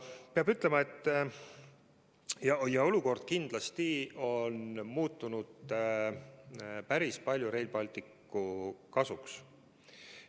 Peab ütlema, et olukord on kindlasti muutunud päris palju Rail Balticu kasuks.